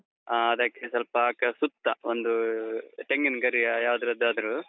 ಹ, ಅದಕ್ಕೆ ಸ್ವಲ್ಪ ಸುತ್ತ ಒಂದು ತೆಂಗಿನ್ ಗರಿಯಾ, ಯಾವ್ದದ್ದಾದ್ರೂ.